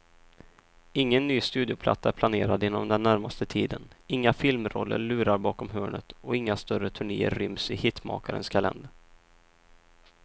Ingen ny studioplatta är planerad inom den närmaste tiden, inga filmroller lurar bakom hörnet och inga större turnéer ryms i hitmakarens kalender.